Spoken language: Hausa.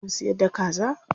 Suna siyar da kaza?